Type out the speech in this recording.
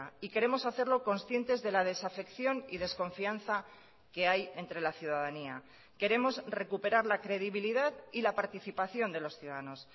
y queremos hacerlo conscientes de la desafección y desconfianza que hay entre la ciudadanía queremos recuperar la credibilidad y la participación de los ciudadanos